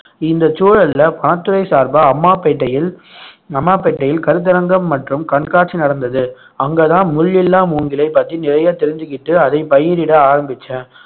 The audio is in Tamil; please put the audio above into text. இந்தச் சூழல்ல வனத்துறை சார்பா அம்மாபேட்டையில் அம்மாபேட்டையில் கருத்தரங்கம் மற்றும் கண்காட்சி நடந்தது அங்கதான் முள் இல்லா மூங்கிலைப் பத்தி நிறைய தெரிஞ்சுகிட்டு அதை பயிரிட ஆரம்பிச்சேன்